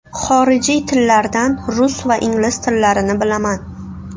Xorijiy tillardan rus va ingliz tillarini bilaman.